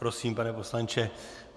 Prosím, pane poslanče.